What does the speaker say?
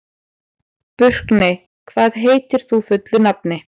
Burkney, hvað heitir þú fullu nafni?